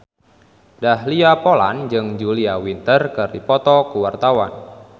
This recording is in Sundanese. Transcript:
Dahlia Poland jeung Julia Winter keur dipoto ku wartawan